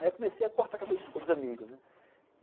Aí eu comecei a cortar o cabelo dos amigos, né.